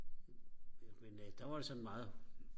men øh der var det sådan meget